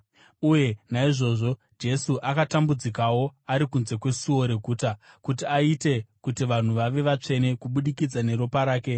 Uye naizvozvo Jesu akatambudzikawo ari kunze kwesuo reguta kuti aite kuti vanhu vave vatsvene kubudikidza neropa rake.